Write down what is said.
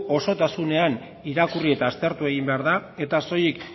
osotasunean irakurri eta aztertu egin behar da eta soilik